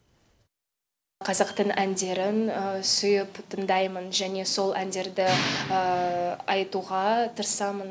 қазақтың әндерін сүйіп тыңдаймын және сол әндерді айтуға тырысамын